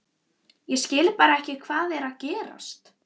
Ég skil bara ekki hvað er að gerast.